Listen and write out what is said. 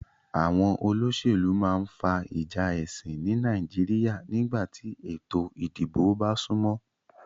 Àwon olósèlú ma n fa ìjà èsìn ni Naijiria nígbàtí ètò ìdibò ba súnmó